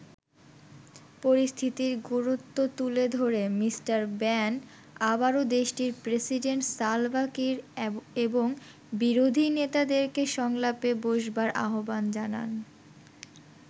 পরিস্থিতির গুরুত্ব তুলে ধরে মিস্টার ব্যান আবারো দেশটির প্রেসিডেন্ট সালভা কির এবং বিরোধী নেতাদেরকে সংলাপে বসবার আহ্বান জানান।